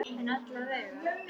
En alla vega.